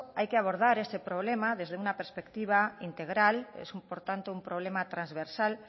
hay que abordar este problema desde una perspectiva integral es por tanto un problema transversal